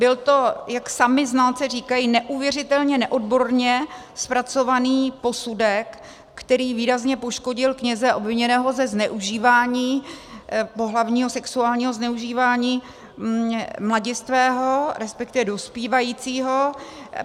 Byl to, jak sami znalci říkají, neuvěřitelně neodborně zpracovaný posudek, který výrazně poškodil kněze obviněného ze zneužívání, pohlavního, sexuálního zneužívání mladistvého, respektive dospívajícího.